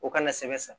O kana sɛbɛ san